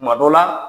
Kuma dɔ la